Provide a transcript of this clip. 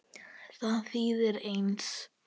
Það þýðir Einsi.